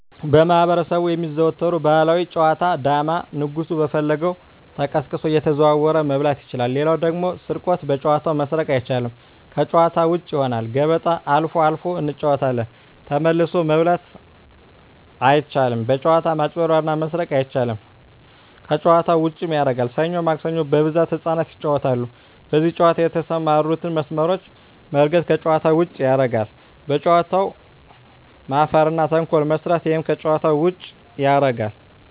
በማህበረሰቡ የሚዘወተሩ ባህላዊ ጨዋታ ዳማ ንጉሡ በፈለገው ተቀሳቅሶ እየተዘዋወረ መብላት ይችላል ሌላው ደግሞ ስርቆት በጨዋታው መስረቅ አይቻልም ከጭዋታ ውጭ ይሆናል ገበጣ አልፎ አልፎ እንጫወታለን ተመልሶ መብላት አይቻልም በጭዋታው መጭበርበር እና መስረቅ አይቻልም ከጨዋታው ዉጭም ያረጋል ሠኞ ማክሰኞ በብዛት ህጻናት ይጫወታሉ በዚህ ጨዋታ የተሠማሩትን መስመሮች መርገጥ ከጨዋታ ውጭ ያረጋል በጨዋታው መፈረ እና ተንኮል መስራት እሄም ከጨዋታ ውጭ ያረጋል